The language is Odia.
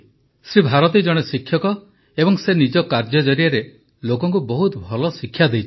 ଶ୍ରୀ ଭାରତୀ ଜଣେ ଶିକ୍ଷକ ଏବଂ ସେ ନିଜ କାର୍ଯ୍ୟ ଜରିଆରେ ଲୋକଙ୍କୁ ବହୁତ ଭଲ ଶିକ୍ଷା ଦେଇଛନ୍ତି